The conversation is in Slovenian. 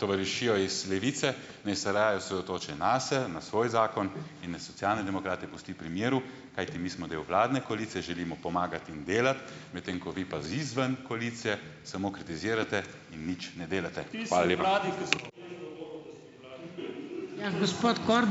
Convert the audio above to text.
tovarišijo iz Levice, naj se raje osredotoči nase, na svoj zakon in naj Socialne demokrate pusti pri miru. Kajti mi smo del vladne koalicije, želimo pomagati in delati. Medtem ko vi pa izven koalicije samo kritizirate in nič ne delate. Hvala lepa.